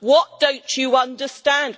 What don't you understand?